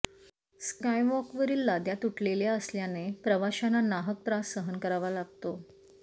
स्कॉयवॉकवरील लाद्या तुटलेल्या असल्याने प्रवाशांना नाहक त्रास सहन करावा लागतो